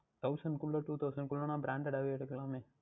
Thousand குள்ளே Two Thousand குள்ளே அப்படி என்றால் Branded அஹ் வே எடுத்துக்கொள்ளலாமே